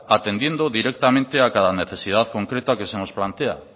atendiendo directamente a cada necesidad concreta que se nos plantea